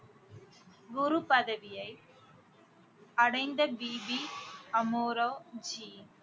குரு பதவியை அடைந்த பிபி அமோரோ ஜி